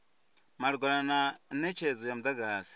malugana na netshedzo ya mudagasi